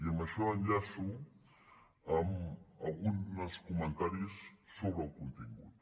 i amb això enllaço amb algun dels comentaris sobre el contingut